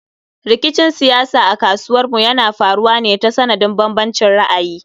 Rikicin siyasa a ƙasarmu yana faruwa ne ta sanadin bambancin ra'ayi